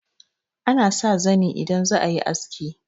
ana sa zani idan za a yi aski